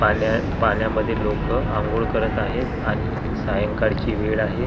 पाण्या पाण्यामध्ये लोकं अंघोळ करत आहेत आणि हि सायंकाळची वेळ आहे .